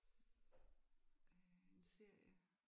Øh en serie